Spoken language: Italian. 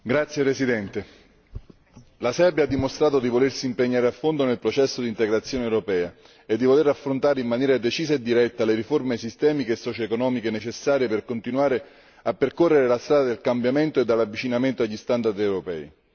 Signor Presidente, onorevoli colleghi, la Serbia ha dimostrato di volersi impegnare a fondo nel processo di integrazione europea e di voler affrontare in maniera decisa e diretta le riforme sistemiche e socioeconomiche necessarie per continuare a percorrere la strada del cambiamento e dell'avvicinamento agli standard europei.